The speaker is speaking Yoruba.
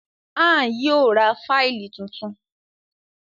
Ann yíò rá Fáìlì títún.